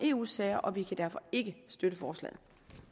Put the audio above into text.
eu sager og vi kan derfor ikke støtte forslaget